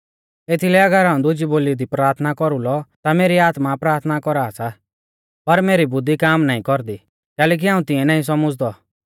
एथीलै अगर हाऊं दुजी बोली दी प्राथना कौरुलौ ता मेरी आत्मा प्राथना कौरा सा पर मेरी बुद्धी काम नाईं कौरदी कैलैकि हाऊं तिऐं नाईं सौमझ़दौ